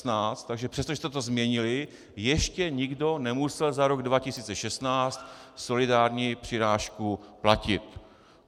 Takže přestože jste to změnili, ještě nikdo nemusel za rok 2016 solidární přirážku platit.